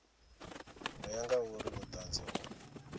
ḓo ya ngauri vhuṱanzi ho